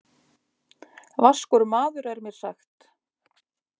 Vaskur maður er mér sagt.